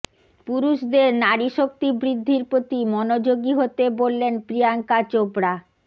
পুরুষদের নারীশক্তি বৃদ্ধির প্রতি মনোযোগী হতে বললেন প্রিয়াঙ্কা চোপড়া